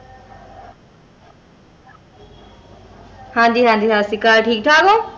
ਹਨ ਜੀ ਹਨ ਜੀ ਸਾਸਰੀਕਾਲ ਠੀਕ ਥਕ ਹੋ?